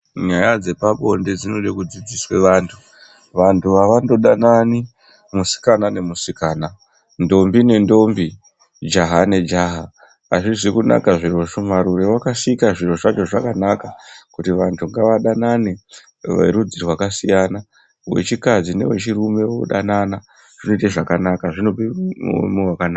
Nyaya dzepabonde dzinode kudzidziswe vanthu. Vanthu havandodanani musikana nemusikana, nthombi nenthombi, jaha nejaha hazvizi kunaka zvirozvo marure wakasika zviro zvacho zvakanaka kuti vanthu ngavadanane verudzi rwakasiyana wechikadzi newechirume unodanana zvinoite zvakanaka zvinope muono wakanaka.